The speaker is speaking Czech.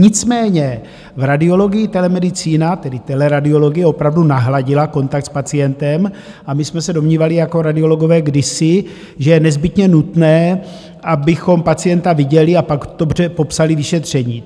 Nicméně v radiologii telemedicína, tedy teleradiologie, opravdu nahradila kontakt s pacientem a my jsme se domnívali jako radiologové kdysi, že je nezbytně nutné, abychom pacienta viděli a pak dobře popsali vyšetření.